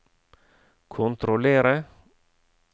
kontrollere